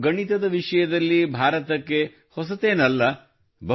ಇದು ಗಣಿತದ ವಿಷಯದಲ್ಲಿ ಭಾರತಕ್ಕೆ ಹೊಸದೇನಲ್ಲ